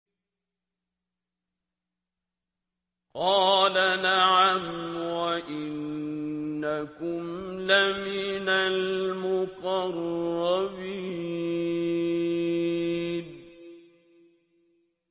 قَالَ نَعَمْ وَإِنَّكُمْ لَمِنَ الْمُقَرَّبِينَ